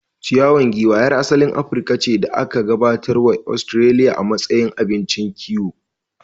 Ciwan giwa yar asalin Afirka ce da aka gabatar wa Ostiraliya a matsayin abincin kiwo